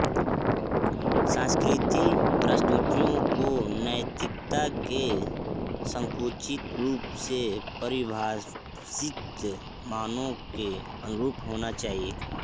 सांस्कृतिक प्रस्तुतियों को नैतिकता के संकुचित रूप से परिभाषित मानकों के अनुरूप होना चाहिए